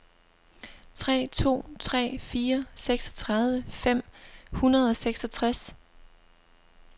tre to tre fire seksogtredive fem hundrede og seksogtres